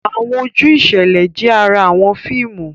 Awọn oju iṣẹlẹ jẹ àrà awọn fíìmù.